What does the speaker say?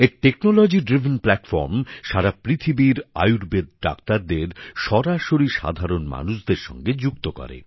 এখানে প্রযুক্তি ভিত্তিক ব্যবস্থাপনা সারা পৃথিবীর আয়ুর্বেদ ডাক্তারদের সরাসরি সাধারন মানুষদের সঙ্গে যুক্ত করে